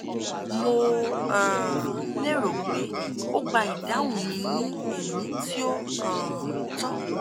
mo um lérò pé ó gba ìdáhùn mi ní ẹ̀mí tí ó um tọ́